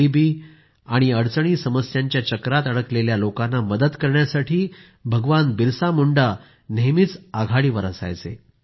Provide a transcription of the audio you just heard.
गरीब आणि अडचणीसमस्या यांच्या चक्रात अडकलेल्या लोकांना मदत करण्यासाठी भगवान बिरसा मुंडा नेहमीच आघाडीवर असायचे